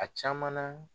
A caman na